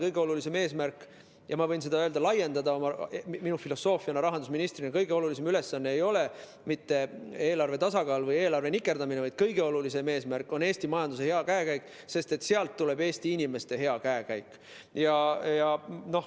Kõige olulisem eesmärk, ma võin seda laiendada minu filosoofiaks rahandusministrina, ei ole mitte eelarve tasakaal või eelarve nikerdamine, vaid kõige olulisem eesmärk on Eesti majanduse hea käekäik, sest sealt tuleb Eesti inimeste hea käekäik.